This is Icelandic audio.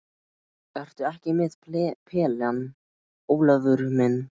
Ertu ekki með pelann, Ólafur minn?